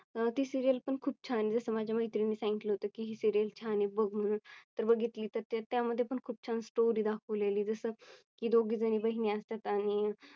अह ती Serial पण खूप छान आहे. जस माझ्या मैत्रिणी सांगितले होते की Serial छान आहे बघ म्हणून तर बघितली तर त्याच्या मध्ये पण खूप छान Story दाखवलेली जसं की दोघी जणी बहिणी असतात आणि